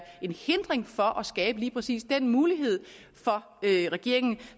en hindring for at skabe lige præcis den mulighed for regeringen